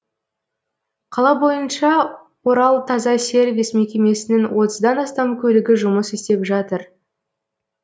қала бойынша оралтазасервис мекемесінің отыздан астам көлігі жұмыс істеп жатыр